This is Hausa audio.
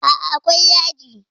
Aa, akwai yaji